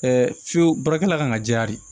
fiyewu baarakɛla kan ka jɛya de